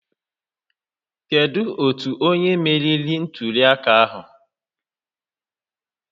Kedu otu onye meriri ntuli aka ahụ?